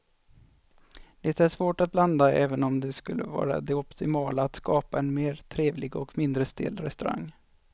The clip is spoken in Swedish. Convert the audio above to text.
Det är svårt att blanda även om det skulle vara det optimala att skapa en mer trevlig och mindre stel restaurang.